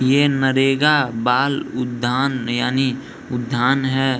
ये नरेगा बाल उधान यानी उद्यान है।